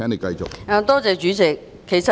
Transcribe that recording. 多謝主席。